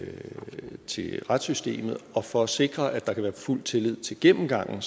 til retssystemet og for at sikre at der kan være fuld tillid til gennemgangen